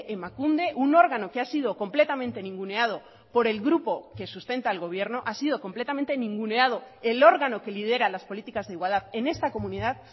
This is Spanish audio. emakunde un órgano que ha sido completamente ninguneado por el grupo que sustenta el gobierno ha sido completamente ninguneado el órgano que lidera las políticas de igualdad en esta comunidad